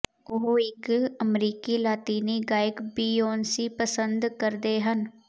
ਉਹ ਇੱਕ ਅਮਰੀਕੀ ਲਾਤੀਨੀ ਗਾਇਕ ਬੀਔਨਸੀ ਪਸੰਦ ਕਰਦੇ ਹਨ